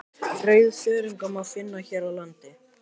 rauðþörunga má finna hér á landi